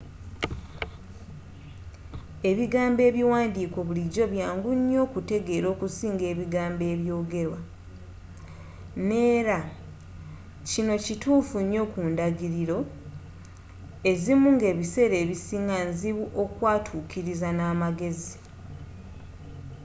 ebigambo ebiwandiike bulijjo byangu okuteegera okusinga ebigambo ebyogerwa. neera.kino kituufu nnyo ku ndagiriro ezimu ngebiseera ebisinga nzibu okwatuukiriza namagezi